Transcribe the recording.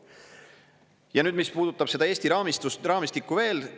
Ja nüüd, mis puudutab seda Eesti raamistikku veel.